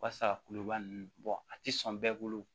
Wasa kuluba ninnu a tɛ sɔn bɛɛ bolo